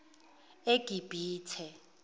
egibithe